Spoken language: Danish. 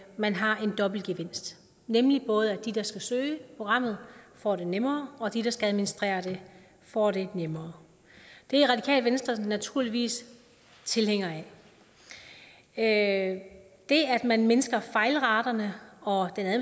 man har en dobbelt gevinst nemlig både at de der skal søge programmet får det nemmere og at de der skal administrere det får det nemmere det er radikale venstre naturligvis tilhænger af det at man mindsker fejlraterne og at